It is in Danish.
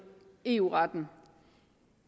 eu retten